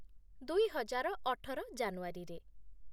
ଦୁଇ ହଜାର ଅଠର ଜାନୁଆରୀରେ ।